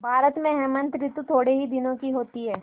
भारत में हेमंत ॠतु थोड़े ही दिनों की होती है